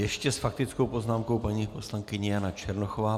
Ještě s faktickou poznámkou paní poslankyně Jana Černochová.